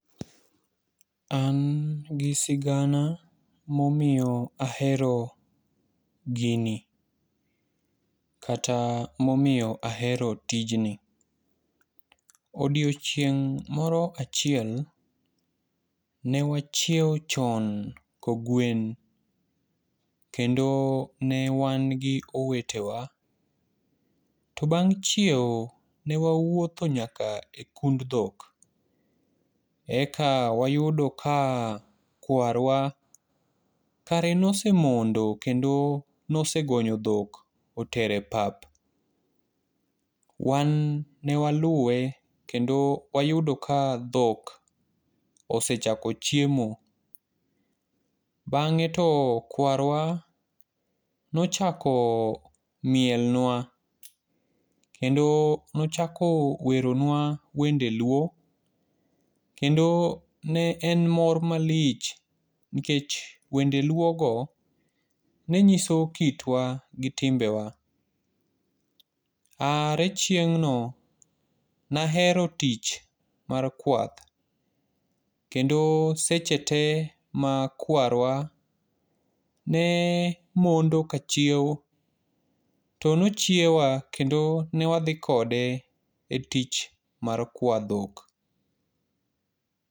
An gi sigana ma omiyo ahero gini. Kata momiyo ahero tijni. Odiechieng' moro achiel ne wachiewo chon kogwen. Kendo ne wan gi owetewa. To bang' chiewo ne wawuotho nyaka e kund dhok. Eka wayudo ka kwarwa kare ne osemondo kendo ne osegonyo dhok otero e pap. wan ne waluwe, kendo wayudo ka dhok osechako chiemo. Bang'e to kwarwa, ne ochako mielnwa, kendo nochako weronwa wende luo, kendo ne en mor malich, nikech wende luo go, ne nyiso kitwa gi timbe wa. Are chieng'no ne ahero tich mar kwath. Kendo seche te ma kwarwa ne mondo ka chiewo to ne ochiewo wa kendo ne wadhi kode e tich mar kwayo dhok.